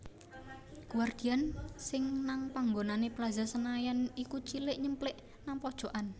Guardian sing nang nggonane Plaza Senayan iku cilik nyemplik nang pojokan